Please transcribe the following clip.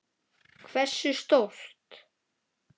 Hversu stórt?